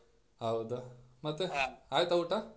ಹೌದಾ ಮತ್ತೆ ಆಯ್ತ ಊಟ?